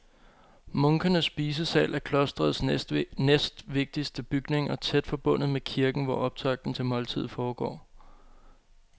Munkenes spisesal er klostrets næstvigtigste bygning og tæt forbundet med kirken, hvor optakten til måltidet foregår.